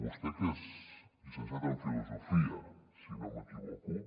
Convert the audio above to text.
vostè que és llicenciat en filosofia si no m’equivoco